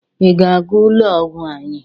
ị ga-aga ụlọ ọgwụ anya?